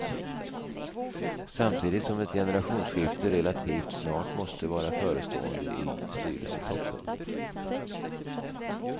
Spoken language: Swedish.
Samtidigt som ett generationsskifte relativt snart måste vara förestående i styrelsetoppen.